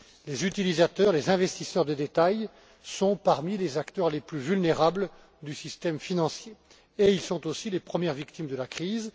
Les utilisateurs, les investisseurs de détail comptent parmi les acteurs les plus vulnérables du système financier et ils sont aussi les premières victimes de la crise.